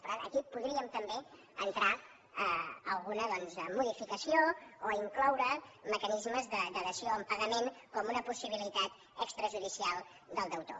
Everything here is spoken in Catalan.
per tant aquí podríem també entrar alguna doncs modificació o incloure mecanismes de dació en pagament com una possibilitat extrajudicial del deutor